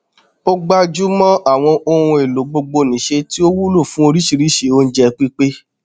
a gbájúmọ àwọn ohun èlò gbogbonìṣe tí ó wúlò fún oríṣiríṣi oúnjẹ pípé